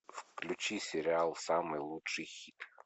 включи сериал самый лучший хит